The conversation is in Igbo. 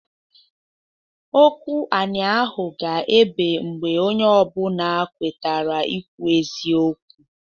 Okwu anị ahụ ga-ebe mgbe onye ọ bụna kwetara ikwu eziokwu.